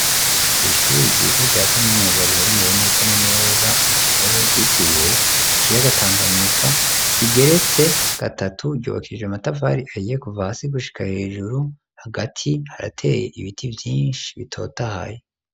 Kw'ishuri ryiza rya kaminuza riherereye neza na neza mu Kigobe ryitiriwe ikiyaga Tanganyika rigeretse gatatu ryubakishije ama tafari ahiye kuva hasi gushika hejuru hagati harateye ibiti vyishi bitotahaye.